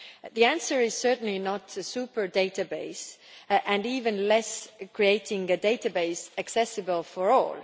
The answer is certainly not a super database and, even less, creating a database accessible for all.